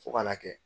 Fo ka n'a kɛ